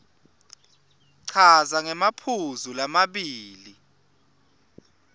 chaza ngemaphuzu lamabili